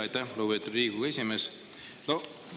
Aitäh, lugupeetud Riigikogu esimees!